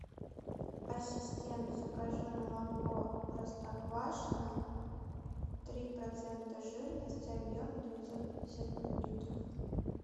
ассистент закажи молоко простоквашино три процента жирности объем девятьсот пятьдесят миллилитров